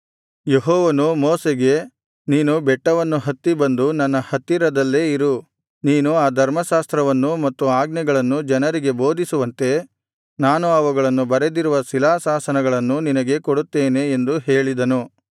ಯೆಹೋವನು ಮೋಶೆಗೆ ನೀನು ಬೆಟ್ಟವನ್ನು ಹತ್ತಿ ಬಂದು ನನ್ನ ಹತ್ತಿರದಲ್ಲೇ ಇರು ನೀನು ಆ ಧರ್ಮಶಾಸ್ತ್ರವನ್ನೂ ಮತ್ತು ಆಜ್ಞೆಗಳನ್ನೂ ಜನರಿಗೆ ಬೋಧಿಸುವಂತೆ ನಾನು ಅವುಗಳನ್ನು ಬರೆದಿರುವ ಶಿಲಾಶಾಸನಗಳನ್ನು ನಿನಗೆ ಕೊಡುತ್ತೇನೆ ಎಂದು ಹೇಳಿದನು